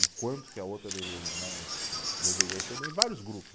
e quanto que a outra deveria não eh, deveria receber, em vários grupos.